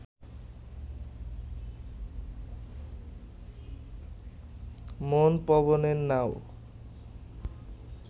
মন পবনের নাও